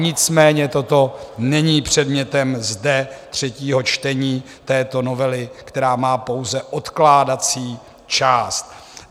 Nicméně toto není předmětem zde třetího čtení této novely, která má pouze odkládací část.